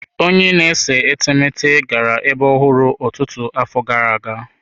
Onye na-ese etemeete gara ebe ọhụrụ ọtụtụ afọ gara aga.